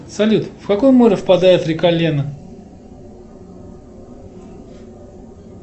салют в какое море впадает река лена